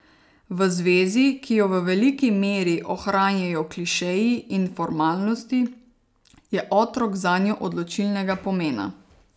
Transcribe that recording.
V zvezi, ki jo v veliki meri ohranjajo klišeji in formalnosti, je otrok zanjo odločilnega pomena.